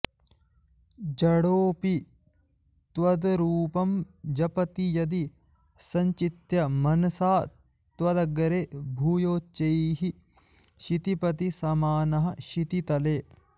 जडोऽपि त्वद्रूपं जपति यदि सञ्चित्य मनसा त्वदग्रे भूयोच्चैः क्षितिपतिसमानः क्षितितले